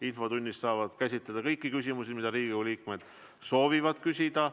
Infotunnis saab käsitleda kõiki küsimusi, mida Riigikogu liikmed soovivad küsida.